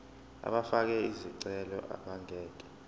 abafake izicelo abangeke